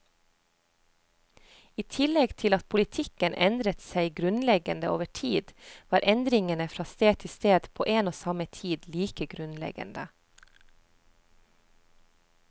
I tillegg til at politikken endret seg grunnleggende over tid, var endringene fra sted til sted på en og samme tid like grunnleggende.